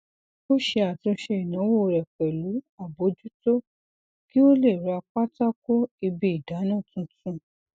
ó ṣe àtúnṣe ináwó rẹ pẹlú àbójútó kí ó lè ra pátákó ibi idana tuntun